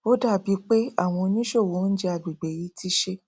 ó dàbí pé àwọn oníṣòwò oúnjẹ agbègbè yìí ti ṣe